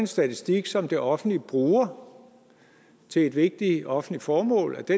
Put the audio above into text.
statistik som det offentlige bruger til et vigtigt offentligt formål